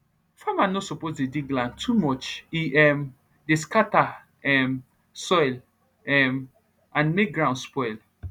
farmer no suppose dey dig land too much e um dey scatter um soil um and make ground spoil